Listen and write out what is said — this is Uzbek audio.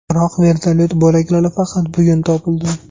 Biroq vertolyot bo‘laklari faqat bugun topildi.